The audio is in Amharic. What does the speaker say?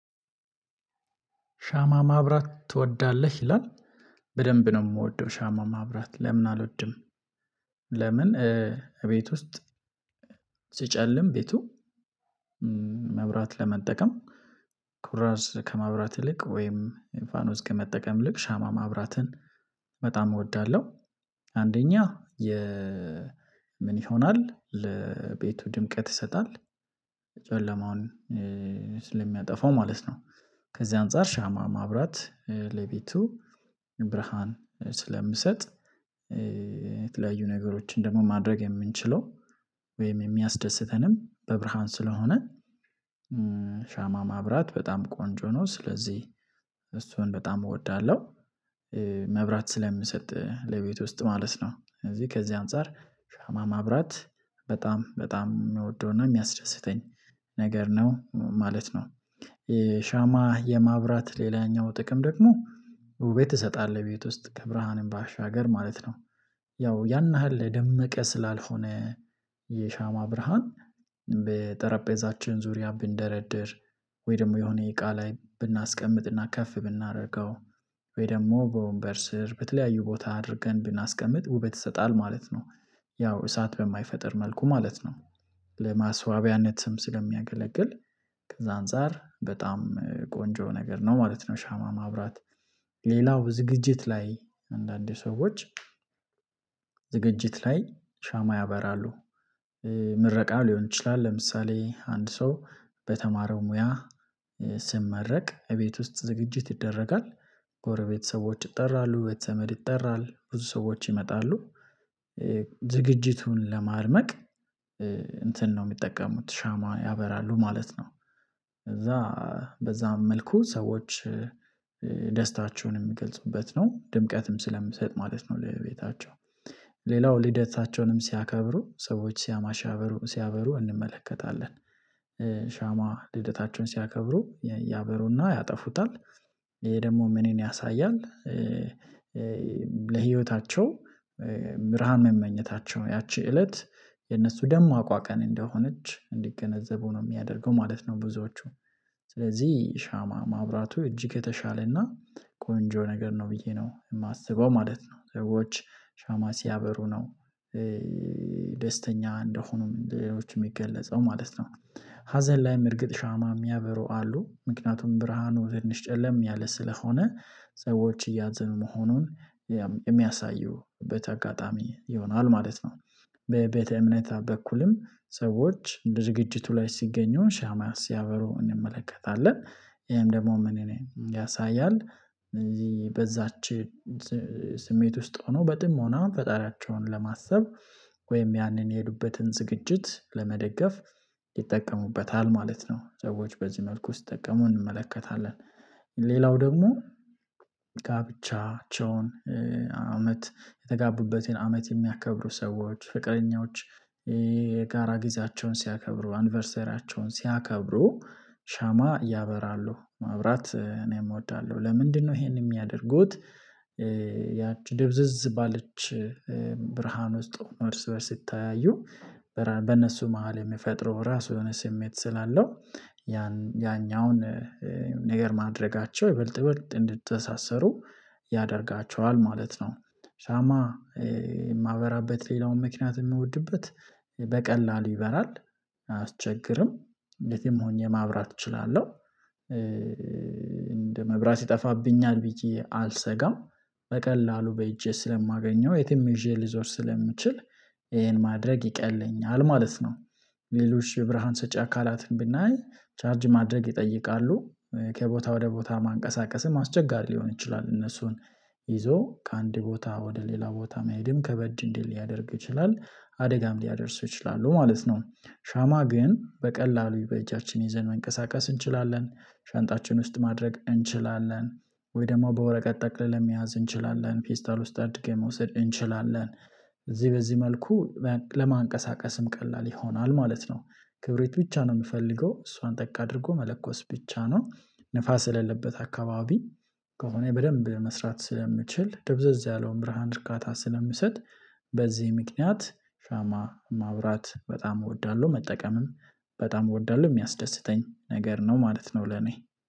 ሻማ ማብራት ትወዳለህ? ይላል በደንብ ነው የምወደው ሻማ ማብራት ለምን አልወድም ለምን እቤት ውስጥ ሲጨልም ቤቱ መብራት ለመጠቀም ኩራዝ ከመብራት ይልቅ ወይም ፋኖስ ከመጠቀም ይልቅ ሻማ ማብራትን በጣም እወዳለሁ አንደኛ የ ምን ይሆናል ለቤቱ ድምቀት ይሰጣል ጨለማውን ስለሚያጠፋው ማለት ነው ከዚህ አንፃር ሻማ ማብራት ለቤቱ ብርሃን ስለምሰጥ የተለያዩ ነገሮችን ደግሞ ማድረግ የምንችለው ወይም የሚያስደስተንም በብርሃን ስለሆነ ሻማ ማብራት በጣም ቆንጆ ነው ስለዚህ እሱን በጣም እወዳለሁ ስለምሰጥ ለቤት ውስጥ ማለት ነው ከዚህ ከዚህ አንፃር ሻማ ማብራት በጣም በጣም የምወደውና የሚያስደስተኝ ነገር ነው ማለት ነው ሻማ የማብራት ሌላኛው ጥቅም ደግሞ ውቤት ይሰጣል ቤት ውስጥ ከብርሃንም ባሻገር ማለት ነው ያው ያን ያህል የደመቀ ስላልሆነ የሻማ ብርሃን በጠረጴዛችን ዙሪያ ብንደረድር ወይ ደግሞ የሆነ እቃ ላይ ብናስቀምጥና ከፍ ብናደርገው ወይ ደግሞ በወንበር ስር በተለያዩ ቦታ አድርገን ብናስቀምጥ ውበት ይሰጣል ማለት ነው ያው እሳት በማይፈጥር መልኩ ማለት ነው ለማስዋቢያነትም ስለሚያገለግል ከዛ አንፃር በጣም ቆንጆ ነገር ነው ማለት ነው ሻማ ማብራት። ሌላው ዝግጅት ላይ አንዳንዴ ሰዎች ላይ ሻማ ያበራሉ ምረቃ ሊሆን ይችላል ለምሳሌ አንድ ሰው በተማረው ሙያ ስመረቅ እቤት ውስጥ ዝግጅት ይደረጋል፣ ጎረቤት ሰዎች ይጠራሉ፣ ቤተዘመድ ይጠራል፣ ብዙ ሰዎች ይመጣሉ ዝግጅቱን ለማድመቅ እንትን ነው የሚጠቀሙት ሻማ ያበራሉ ማለት ነው ከዛ በዛ መልኩ ሰዎች ደስታቸውን የሚገልጹበት ነው ድምቀትም ስለምሰጥ ማለት ነው ለቤታቸው ልደታቸውንም ሲያከብሩ ሰዎች ሻማ ሲያበሩ ሲያበሩ እንመለከታለን። ሻማ ልደታቸውን ሲያከብሩ ያበሩና ያጠፉታል ይሄ ደግሞ ምንን ያሳያል ለህይወታቸው ብርሃን መመኘታቸው ያቺ እለት የነሱ ደማቋ ቀን እንደሆነች እንዲገነዘቡ ነው የሚያደርገው ማለት ነው ብዙዎቹ ስለዚህ ሻማ ማብራቱ እጅግ የተሻለና ቆንጆ ነገር ነው ብዬ ነው የማስበው ማለት ነው ሰዎች ሻማ ሲያበሩ ነው ደስተኛ እንደሆኑም ሌሎችም የሚገለጸው ማለት ነው ሀዘን ላይም እርግጥ ሻማ የሚያበሩ አሉ ምክንያቱም ብርሃኑ ትንሽ ጨለም ያለ ስለሆነ ሰዎች እያዘኑ መሆኑን የሚያሳዩበት አጋጣሚ ይሆናል ማለት ነው በቤተ እምነት በኩልም ሰዎች ዝግጅቱ ላይ ሲገኙ ሻማ ሲያበሩ እንመለከታለን ይሄም ደግሞ ምንን ያሳያል እዚህ በዛች ስሜት ውስጥ ሆኖ በጥሞና ፈጣሪያቸውን ለማሰብ ወይም ያንን የሄዱበትን ዝግጅት ለመደገፍ ይጠቀሙበታል ማለት ነው ሰዎች በዚህ መልኩ ሲጠቀሙ እንመለከታለን ሌላው ደግሞ ጋብቻቸውን አመት የተጋቡበትን አመት የሚያከብሩ ሰዎች ፍቅረኞች የጋራ ጊዜያቸውን ሲያከብሩ አንቨርሰሪያቸውን ሲያከብሩ ሻማ ያበራሉ ማብራት እኔም እወዳለሁ ለምንድነው ይሄንን የሚያደርጉት ያቺ ድብዝዝ ባለች ብርሃን ውስጥ ነው እርስ በእርስ ሲታዩ በነሱ መሃል የሚፈጥረው ራሱ የሆነ ስሜት ስላለው ያኛውን ነገር ማድረጋቸው ይበልጥ ይበልጥ እንድትተሳሰሩ ያደርጋቸዋል ማለት ነው ሻማ የማበራበት ሌላው ምክንያት የምወድበት በቀላሉ ይበራል አያስቸግርም እንዴትም ሆኜ ማብራት እችላለሁ እንደ መብራት ይጠፋብኛል ብዬ አልሰጋም በቀላሉ በእጄ ስለማገኘው የትም ይዤ ልዞር ስለምችል ይሄን ማድረግ ይቀለኛል ማለት ነው ሌሎች ብርሃን ሰጪ አካላትን ብናይ ቻርጅ ማድረግ ይጠይቃሉ ከቦታ ወደ ቦታ ማንቀሳቀስም አስቸጋሪ ሊሆን ይችላል እነሱን ይዞ ከአንድ ቦታ ወደ ሌላ ቦታ መሄድም ከበድ እንዲል ሊያደርግ ይችላል አደጋም ሊያደርሱ ይችላሉ ማለት ነው ሻማ ግን በቀላሉ በእጃችን ይዘን መንቀሳቀስ እንችላለን፣ ሻንጣችን ውስጥ ማድረግ እንችላለን፣ ወይ ደግሞ በወረቀት ጠቅለን ለመያዝ እንችላለን፣ ፔስታል ውስጥ አድገን መውሰድ እንችላለን እዚህ በዚህ መልኩ ለማንቀሳቀስም ቀላል ይሆናል ማለት ነው ክብሬት ብቻ ነው የምፈልገው እሷን ጠቅ አድርጎ መለኮስ ብቻ ነው ንፋስ ለሌለበት አካባቢ ከሆነ በደንብ መስራት ስለምችል ድብዘዝ ያለውን ብርሃን እርካታ ስለምሰጥ በዚህ ምክንያት ሻማ ማብራት በጣም እወዳለሁ መጠቀምም በጣም እወዳለሁ የሚያስደስተኝ ነገር ነው ማለት ነው ለኔ።